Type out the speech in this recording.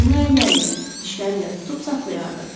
Onu əlləri ilə, dişləri ilə tutub saxlayardı.